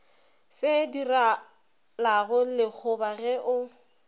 se direlago lekgoba ge o